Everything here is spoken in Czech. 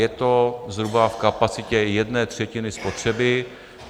Je to zhruba v kapacitě jedné třetiny spotřeby.